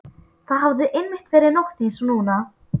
Það hafði einmitt verið nótt einsog núna.